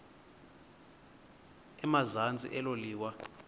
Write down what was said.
emazantsi elo liwa